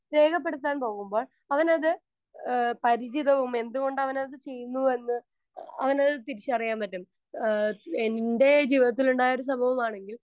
Speaker 1 രേഖപ്പെടുത്താൻ പോകുമ്പോൾ അവനത് ഏഹ് പരിചിതവും എന്തുകൊണ്ടവനത് ചെയ്യുന്നു എന്ന് അവനത് തിരിച്ചറിയാൻ പറ്റും. ആഹ് എൻ്റെ ജീവിതത്തിലുണ്ടായൊരു സംഭവമാണ്